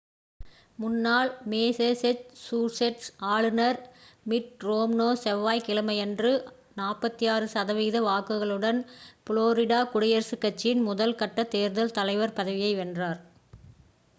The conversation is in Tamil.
முன்னாள் மேசேச்சூஸெட்ஸ் ஆளுனர் மிட் ரோம்னே செவ்வாய் கிழமையன்று 46 சதவிகித வாக்குகளுடன் ஃப்ளோரிடா குடியரசு கட்சியின் முதல் கட்ட தேர்தல் தலைவர் பதவியை வென்றார்